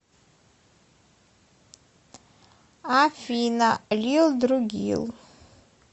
афина лилдругил